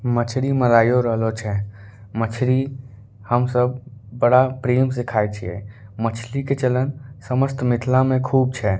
मछरी मराईयो रहलो छे मछरी हम सब बड़ा प्रेम से खा छिए मछली के चलन समस्त मिथला में खुब छे।